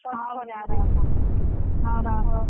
ହଉ ହଉ ଜା ରଖ ହଉ ରଖ।